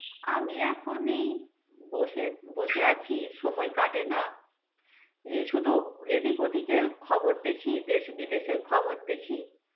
আমি এখন এই বসে বসে আছি সময় কাটে না. এ শুধু এদিক ওদিকের খবর দেখি. দেশ বিদেশের খবর দেখি.